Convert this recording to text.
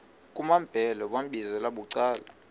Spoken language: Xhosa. kumambhele wambizela bucala